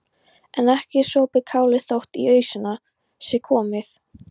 En ekki er sopið kálið þótt í ausuna sé komið.